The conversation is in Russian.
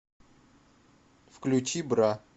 включи бра